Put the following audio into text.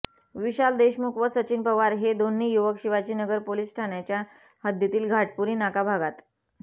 विशाल देशमुख व सचिन पवार हे दोन्ही युवक शिवाजीनगर पोलिस ठाण्याच्या हद्दीतील घाटपुरी नाका भागात